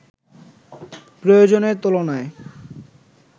প্রয়োজনের তুলনায়